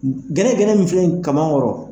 Gɛnɛgɛnɛ min filɛ nin ye kaman kɔrɔ,